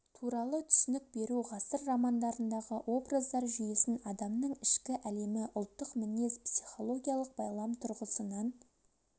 туралы түсінік беру ғасыр романдарындағы образдар жүйесін адамның ішкі әлемі ұлттық мінез психологиялық байлам тұрғысынан